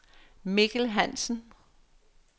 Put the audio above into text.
Mikkel Hansen